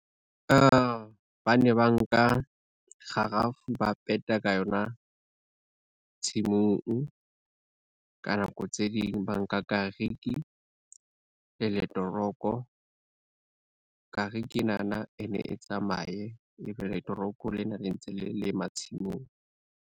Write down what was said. Bane ba nka, kgarafu ba peta ka yona tshimong, ka nako tse ding ba nka kariki le letoronko. Kariki enana e ne e tsamaye e be letoronko lena le ntse le lema tshimong.